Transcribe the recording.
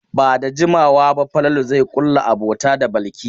Ba da jimawa ba Falalu zai ƙulla abota da Balki.